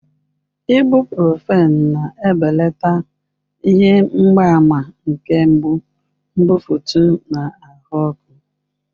Ibuprofen na-ebelata ihe mgbaàmà nke mgbu, mbufụt, na ahụ ọkụ.